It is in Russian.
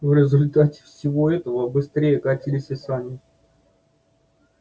в результате всего этого быстрее катились и сани